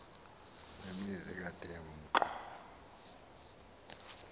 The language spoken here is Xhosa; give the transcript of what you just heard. nemizi ekade imka